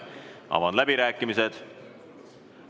Avan läbirääkimised.